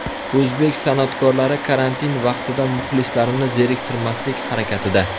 O‘zbek san’atkorlari karantin vaqtida muxlislarini zeriktirmaslik harakatida.